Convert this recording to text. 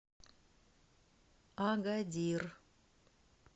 агадир